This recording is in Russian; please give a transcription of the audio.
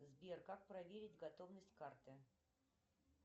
сбер как проверить готовность карты